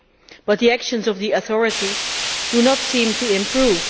However, the actions of the authorities do not seem to improve.